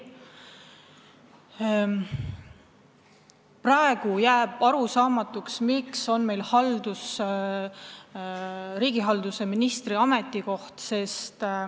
Praegu jääb arusaamatuks, miks on meil riigihalduse ministri ametikoht.